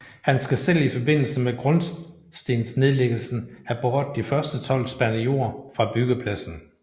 Han skal selv i forbindelse med grundstensnedlæggelsen have båret de første tolv spande jord fra byggepladsen